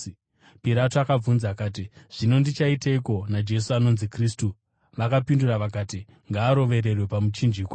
Pirato akabvunza akati, “Zvino ndichaiteiko naJesu anonzi Kristu?” Vakapindura vakati, “Ngaarovererwe pamuchinjikwa!”